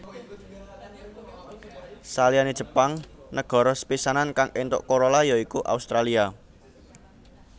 Saliyane Jepang negara sepisanan kang éntuk Corolla ya iku Australia